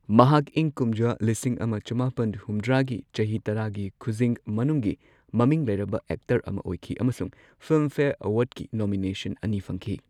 ꯃꯍꯥꯛ ꯏꯪ ꯀꯨꯝꯖꯥ ꯂꯤꯁꯤꯡ ꯑꯃ ꯆꯃꯥꯄꯟ ꯍꯨꯝꯗ꯭ꯔꯥꯒꯤ ꯆꯍꯤ ꯇꯔꯥꯒꯤ ꯈꯨꯖꯤꯡ ꯃꯅꯨꯡꯒꯤ ꯃꯃꯤꯡ ꯂꯩꯔꯕ ꯑꯦꯛꯇꯔ ꯑꯃ ꯑꯣꯏꯈꯤ ꯑꯃꯁꯨꯡ ꯐꯤꯜꯝꯐꯦꯌꯔ ꯑꯦꯋꯥꯔꯗꯀꯤ ꯅꯣꯃꯤꯅꯦꯁꯟ ꯑꯅꯤ ꯐꯪꯈꯤ꯫